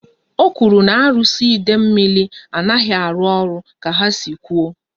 O kwuru na arụsị Idemili anaghị arụ ọrụ ka ha si kwụ